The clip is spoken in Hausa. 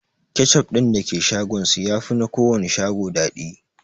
Kechup din da ke shagon su yafi na kowanne shago daɗi